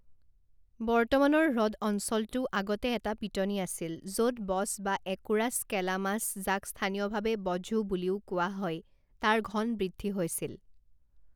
বৰ্তমানৰ হ্ৰদ অঞ্চলটো আগতে এটা পিটনি আছিল, য'ত বচ বা একোৰাচ কেলামাচ যাক স্থানীয়ভাৱে বঝো বুলিও কোৱা হয়, তাৰ ঘন বৃদ্ধি হৈছিল।